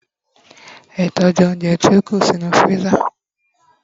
e tọju ounjẹ ti o ku sí inú freezer